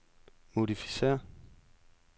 modificér